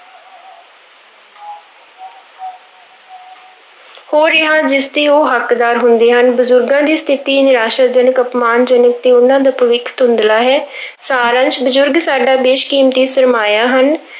ਹੋ ਰਿਹਾ ਜਿਸਦੇ ਉਹ ਹੱਕਦਾਰ ਹੁੰਦੇ ਹਨ, ਬਜ਼ੁਰਗਾਂ ਦੀ ਸਥਿੱਤੀ ਨਿਰਾਸਾਜਨਕ, ਅਪਮਾਨਜਨਕ ਤੇ ਉਹਨਾਂ ਦਾ ਭਵਿੱਖ ਧੁੰਦਲਾ ਹੈ ਸਾਰ ਅੰਸ, ਬਜ਼ੁਰਗ ਸਾਡਾ ਬੇਸ਼-ਕੀਮਤੀ ਸ਼ਰਮਾਇਆ ਹਨ।